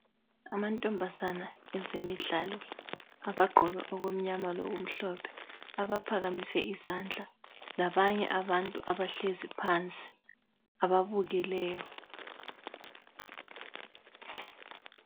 Amantombazana ezemidlalo abagqoke okumnyama lokumhlophe abaphakamise izandla labanye abantu abahlezi phansi ababukeleyo